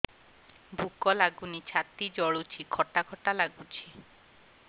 ଭୁକ ଲାଗୁନି ଛାତି ଜଳୁଛି ଖଟା ଖଟା ଲାଗୁଛି